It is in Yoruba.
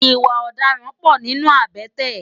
Iwã òdàrãn pò ninú àbèté